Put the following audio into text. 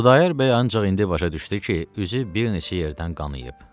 Xudayar bəy ancaq indi başa düşdü ki, üzü bir neçə yerdən qanıyıb.